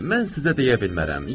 Mən sizə deyə bilmərəm.